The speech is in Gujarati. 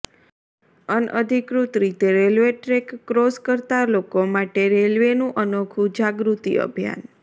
અનઅધિકૃત રીતે રેલવે ટ્રેક ક્રોસ કરતા લોકો માટે રેલવેનું અનોખુ જાગૃતિ અભિયાન